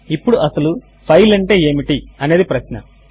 ఇప్పుడు అసలు ఫైల్ అంటే ఏమిటి అనేది ప్రశ్న